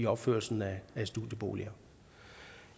opførelsen af studieboliger